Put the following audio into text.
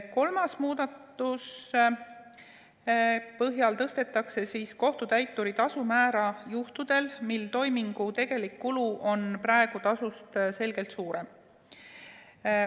Kolmanda muudatuse põhjal tõstetakse kohtutäituri tasu määra juhtudel, mil toimingu tegelik kulu on tasust selgelt suurem.